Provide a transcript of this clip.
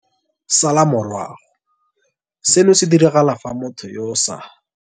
Salwa morago - Seno se diragala fa motho yo o sa.